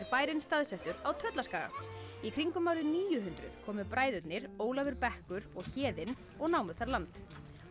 bærinn staðsettur á Tröllaskaga í kringum árið níu hundruð komu bræðurnir Ólafur bekkur og Héðinn og námu þar land